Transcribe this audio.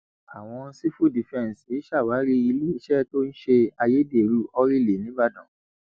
àwọn sìfù dìfẹǹsì ṣàwárí iléeṣẹ tó ń ṣe ayédèrú ọìlì ńìbàdàn